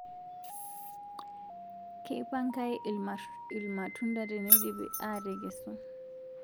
Keipangaii irmatunda teneidipii aitekesu